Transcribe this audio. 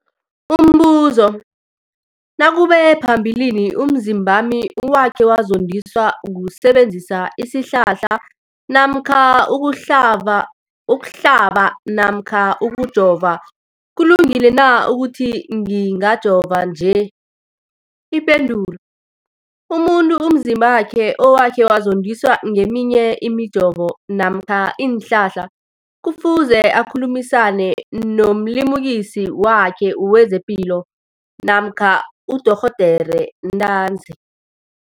Umbuzo, nakube phambilini umzimbami wakhe wazondiswa kusebenzisa isihlahla namkha ukuhlaba namkha ukujova, kulungile na ukuthi ngihlabe, ngijove nje? Ipendulo, umuntu umzimbakhe okhe wazondiswa ngeminye imijovo namkha iinhlahla kufuze akhulumisane nomlimukisi wakhe wezepilo namkha nodorhoderakhe ntanzi.